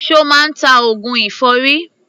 Ṣo máa ń ta oògùn èfọ́rí?